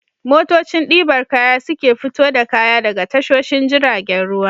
Motocin ɗibar kaya su ke fito da kaya daga tashoshin jiragen ruwa.